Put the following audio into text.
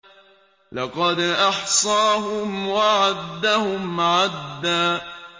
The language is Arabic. لَّقَدْ أَحْصَاهُمْ وَعَدَّهُمْ عَدًّا